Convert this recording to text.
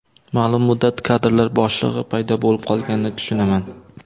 Ma’lum muddat kadrlar bo‘shlig‘i paydo bo‘lib qolganini tushunaman.